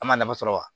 An ma nafa sɔrɔ wa